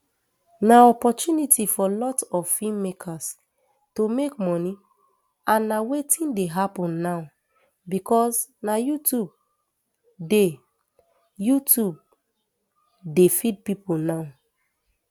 na opportunity for lot of feem makers to make moni and na wetin dey happun now becos na youtube dey youtube dey feed pipo now